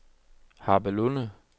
Harpelunde